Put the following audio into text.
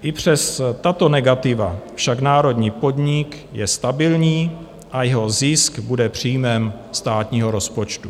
I přes tato negativa však národní podnik je stabilní a jeho zisk bude příjmem státního rozpočtu.